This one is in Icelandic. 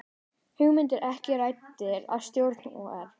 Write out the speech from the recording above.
Hugmyndir ekki ræddar í stjórn OR